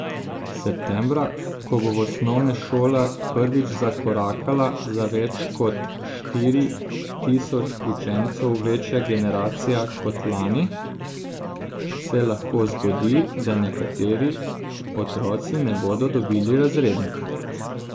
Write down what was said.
Septembra, ko bo v osnovne šole prvič zakorakala za več kot štiri tisoč učencev večja generacija kot lani, se lahko zgodi, da nekateri otroci ne bodo dobili razrednika.